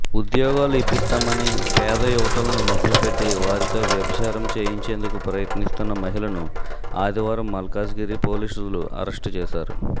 ఉద్యోగాలు ఇప్పిస్తామని పేద యువతులను మభ్యపెట్టి వారితో వ్యభిచారం చేయించేందుకు ప్రయత్నిస్తున్న మహిళను ఆదివారం మల్కాజిగిరి పోలీసులు అరెస్టు చేశారు